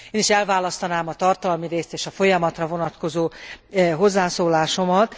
Én is elválasztanám a tartalmi részt és a folyamatra vonatkozó hozzászólásomat.